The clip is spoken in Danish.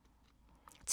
TV 2